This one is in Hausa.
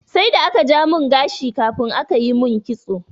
Sai da aka ja mun gashi kafin aka yi mun kitso.